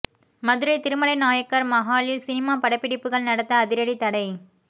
மதுரை திருமலை நாயக்கர் மஹாலில் சினிமா படப்பிடிப்புகள் நடத்த அதிரடி தடை